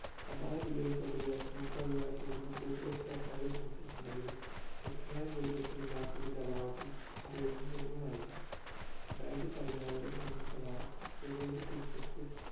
സമാന bill കൾ കൊണ്ട് വരാൻ മുമ്പ് അധികാരത്തിൽ ഇരുന്ന കൂട്ടു കക്ഷി സർക്കാരുകൾ ശ്രമിച്ചിട്ടുണ്ട് എങ്കിലും വ്യക്തമായ ഭൂരിപക്ഷം ഇല്ലാത്തതിന്റെ അഭാവത്തിൽ അവയൊന്നും നിയമമായില്ല രണ്ടായിരത്തി പതിനാലിലെ നിയമപ്രകാരം supreme കോടതി chief justice